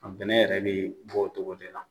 Bɛnɛn yɛrɛ be bɔ o cogo de la.